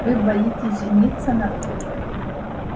вы боитесь жениться на мне